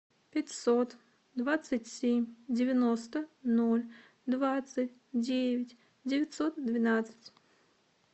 пятьсот двадцать семь девяносто ноль двадцать девять девятьсот двенадцать